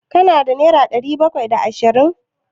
Ka na da naira ɗari bakwai da ashirin?